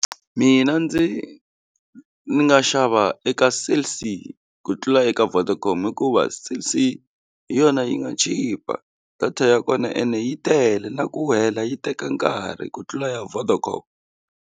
Mina ndzi nga xava eka Cell-C ku tlula eka Vodacom hikuva Cell-C hi yona yi nga chipa data ya kona ene yi tele na ku hela yi teka nkarhi ku tlula ya Vodacom.